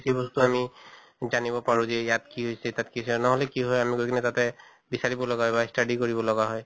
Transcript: বেছি বস্তু আমি জানিব পাৰো যে ইয়াত কি হৈছে তাত কি হৈছে, নহʼলে কি হয় আমি গৈ কিনে তাতে বিচাঁৰিব লগা হয় বা study কৰিব লগা হয়